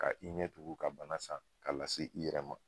Ka i ɲɛ tugu ka bana san k'a lase i yɛrɛ ma.